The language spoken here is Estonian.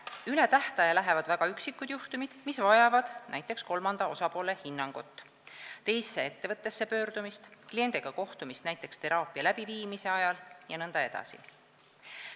Üle tähtaja lähevad väga üksikud juhtumid, mis vajavad näiteks kolmanda osapoole hinnangut, teise ettevõttesse pöördumist, kliendiga kohtumist näiteks teraapia läbiviimise ajal jne.